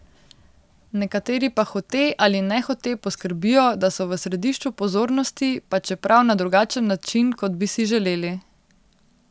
Nekateri pa hote ali nehote poskrbijo, da so v središču pozornosti pa čeprav na drugačen način, kot bi si želeli.